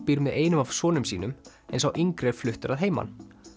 býr með einum af sonum sínum en sá yngri er fluttur að heiman